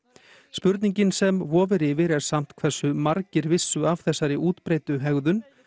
spurningin sem vofir yfir samt er hversu margir vissu af þessari útbreiddu hegðun